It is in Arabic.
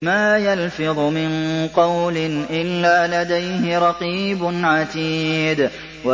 مَّا يَلْفِظُ مِن قَوْلٍ إِلَّا لَدَيْهِ رَقِيبٌ عَتِيدٌ